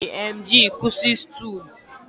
A na-eji emgly kwụsị stool